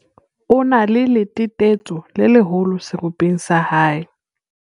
o na le letetetso le leholo seropeng sa hae